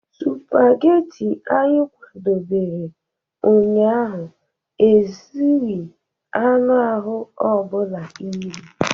Spageti anyị kwadebere ụnyaahụ ezughị anụ ahụ ọ bụla iri.